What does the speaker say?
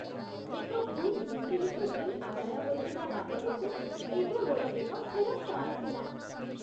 ଏକ ଭୁଲ୍ utility bill ଆଦାୟ ହୋଇଥିବା ବାବଦକୁ ଏବେ ମୋର ଏକ ଫେରସ୍ତ ଆସିଲା।